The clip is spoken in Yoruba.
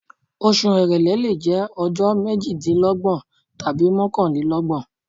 Oṣù èrèlé lè jẹ́ ọjọ́ méjìdínlọ́gbọ̀n tàbí mọ́kànlélọ́gbọ̀n.